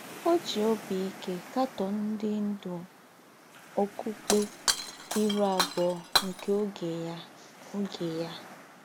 Ọ́ jì óbí íkè kàtọ́ọ̀ ńdị́ ńdú ọ́kụ̀pkè ìrù àbùọ̀ nke ógè ya. ógè ya.